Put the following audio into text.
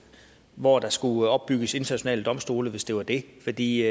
hvor der skulle opbygges internationale domstole hvis det var det fordi